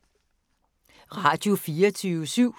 Radio24syv